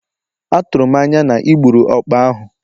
Atụrụ m anya na ị gburu ọkpa ahụ?